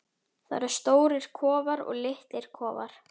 Það eru stórir kofar og litlir kofar.